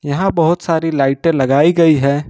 यहां बहोत सारी लाइटें लगाई गई है।